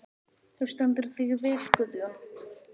Þú stendur þig vel, Guðjón!